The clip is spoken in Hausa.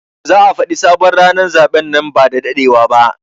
Za a Fadi sabon ranan zaben nan ba dadewa ba.